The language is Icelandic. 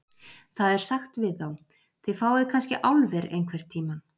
Það er sagt við þá: Þið fáið kannske álver einhvern tíma.